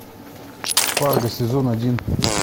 фарго сезон один